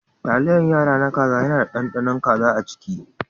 Taliyar yara na kaza yana da ɗanɗanon kaza a ciki.